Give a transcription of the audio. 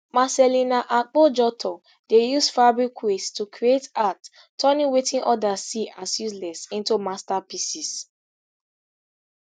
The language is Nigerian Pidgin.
marcellina akpojotor dey use fabric waste to create art turning wetin odas see as useless into masterpieces